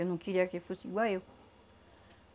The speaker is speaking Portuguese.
Eu não queria que fosse igual eu.